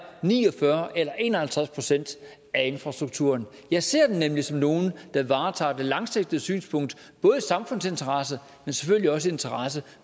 ni og fyrre eller en og halvtreds procent af infrastrukturen jeg ser dem nemlig som nogle der varetager det langsigtede synspunkt både i samfundsinteresse og selvfølgelig også i interesse